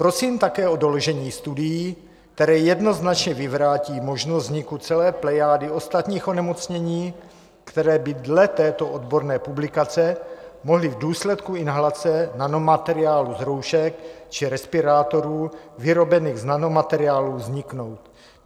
Prosím také o doložení studií, které jednoznačně vyvrátí možnost vzniku celé plejády ostatních onemocnění, které by dle této odborné publikace mohly v důsledku inhalace nanomateriálu z roušek či respirátorů vyrobených z nanomateriálů vzniknout.